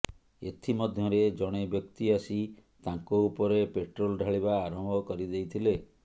ଏଥି ମଧ୍ୟରେ ଜଣେ ବ୍ୟକ୍ତି ଆସି ତାଙ୍କ ଉପରେ ପେଟ୍ରୋଲ ଢାଳିବା ଆରମ୍ଭ କରିଦେଇଥିଲେ